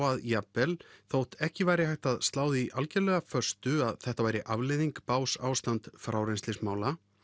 að jafnvel þótt ekki væri hægt að slá því algjörlega föstu að þetta væri afleiðing bágs ástands frárennslismála